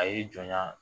A y'i jɔ